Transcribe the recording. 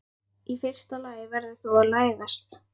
Í fyrsta lagi verður þú að læðast.